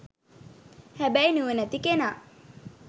හැබැයි නුවණැති කෙනා